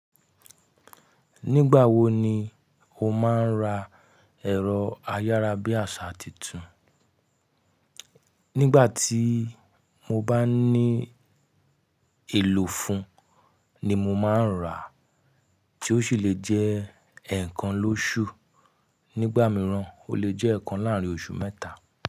Nígbà wo ni o máa ń ra ẹ̀rọ ayára-bí-àṣá titun? Nígbà tí mo bá ní èlò fún un ni mo máa ń rà á, tí ó ṣì le jẹ́ ẹ̀ẹ̀kan lóṣù. Nígbà mìíràn, ó le jẹ́ ẹ̀ẹ̀kan láàárín oṣù mẹ́ta.